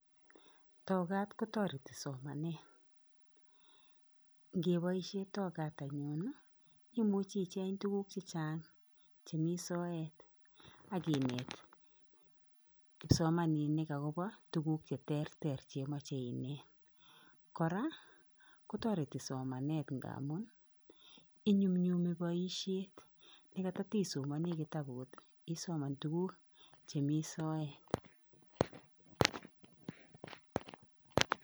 Tokat kotoreti somanet, ngeboisie tokat anyun ii, imuchi icheng tukuk che chang chemi soet ak inet kipsomaninik akobo tukuk che terter che imoche inet, kora kotoreti somanet ngamun inyumnyumi boisiet ne koto to isomoni kitabut ii, isoman tuku che mi soet.